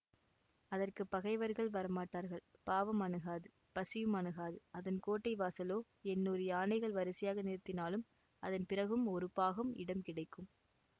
அதற்கு பகைவர்கள் வரமாட்டார்கள் பாவம் அணுகாது பசியும் அணுகாது அதன் கோட்டை வாசலோ எண்ணூறு யானைகளை வரிசையாக நிறுத்தினாலும் அதன் பிறகும் ஒரு பாகம் இடம் கிடக்கும்